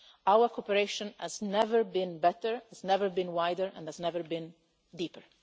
Our cooperation has never been better, it has never been wider and has never been deeper.